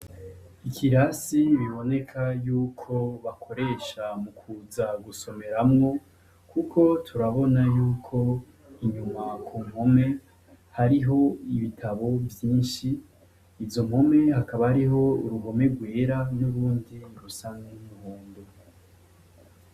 Ikirasi biboneka yuko bakoresha mukuza gusomeramwo kuko turabona yuko inyuma ku mpome hariho ibitabo vyinshi, izo mpome hakaba hariho uruhome rwera nurundi rusa n'umuhondo.